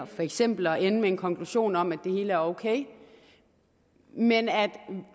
for eksempel at ende med en konklusion om at det hele er ok men at